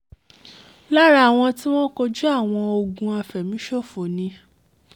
lára àwọn tìwọ̀n kojú àwọn ogun àfẹ̀míṣòfò ni